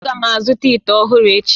Aga m azụta ite ọhụrụ echi